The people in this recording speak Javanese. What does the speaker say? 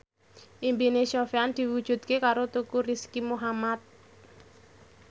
impine Sofyan diwujudke karo Teuku Rizky Muhammad